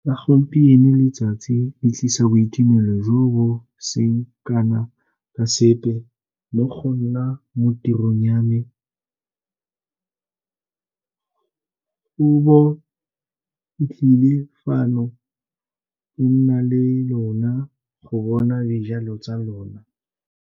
La gampieno letsatsi le tlisa boitumelo jo bo seng kana ka sepe mo go nna mo tirong ya me, go bo ke tlile fano ke na le lona go bona dijalo tsa lona.